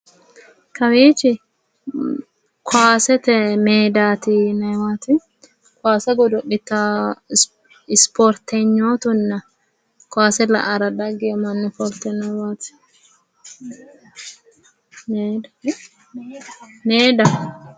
Kawiichi kowaasete meedati yinayiiwaati kowaase godo'litawo ispoortenyootunna kowaase la"ara daggewo mannooti ofoltewowaati... meedaho